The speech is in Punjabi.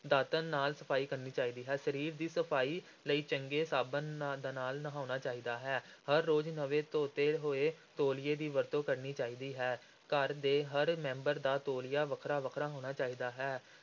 ਦਾਤਣ ਨਾਲ ਸਫ਼ਾਈ ਕਰਨੀ ਚਾਹੀਦੀ ਹੈ, ਸਰੀਰ ਦੀ ਸਫ਼ਾਈ ਲਈ ਚੰਗੇ ਸਾਬਣ ਨਾ ਦੇ ਨਾਲ ਨਹਾਉਣਾ ਚਾਹੀਦਾ ਹੈ, ਹਰ ਰੋਜ਼ ਨਵੇਂ ਧੋਤੇ ਹੋਏ ਤੌਲੀਏ ਦੀ ਵਰਤੋਂ ਕਰਨੀ ਚਾਹੀਦੀ ਹੈ, ਘਰ ਦੇ ਹਰ ਮੈਂਬਰ ਦਾ ਤੌਲੀਆ ਵੱਖਰਾ-ਵੱਖਰਾ ਹੋਣਾ ਚਾਹੀਦਾ ਹੈ।